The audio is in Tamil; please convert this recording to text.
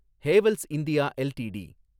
Havells India LTD